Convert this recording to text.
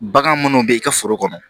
Bagan munnu bɛ i ka foro kɔnɔ